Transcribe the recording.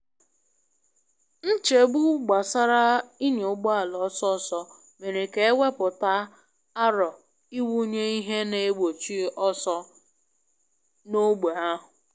Nchegbu gbasara ị nya ụgbọala ọsọ ọsọ mere ka e wepụta aro ịwụnye ihe na egbochi ọsọ n’ógbè ahụ.